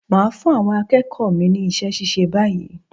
Mà á fún àwọn akéèkòó mi ní isé síse báyìí